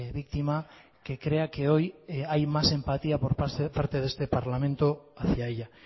víctima que crea que hoy hay más empatía por parte de este parlamento hacia ella